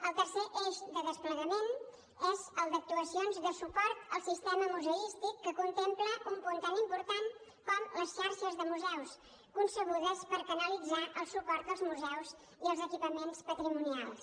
el tercer eix de desplegament és el d’actuacions de suport al sistema museístic que contempla un punt tan important com les xarxes de museus concebudes per canalitzar el suport als museus i als equipaments patrimonials